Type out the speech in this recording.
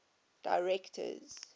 directors